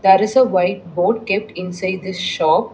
There is a white board kept inside the shop.